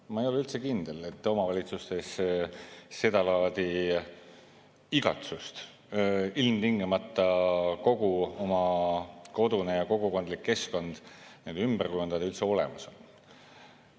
Ma ei ole üldse kindel, et omavalitsustes seda laadi igatsust – ilmtingimata kogu oma kodune ja kogukondlik keskkond ümber kujundada – üldse olemas on.